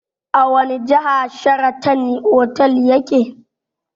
A wani jiha Sharatan otal yake?